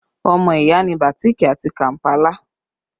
Ọmọ ìyá ni bàtíìkì àti kàmpálà